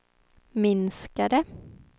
minskade